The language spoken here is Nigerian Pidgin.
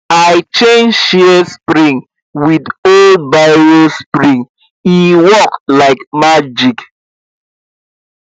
i change shears spring with old biro spring e work like magic